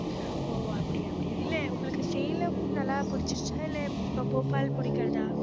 ஓ அப்படியா அப்படியா இல்லை உங்களுக்கு சேலம் நல்லா பிடிச்சிருச்சா இல்லை போபால் பிடிக்கிறதா